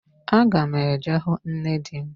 Aga m eje hụ nne m echi.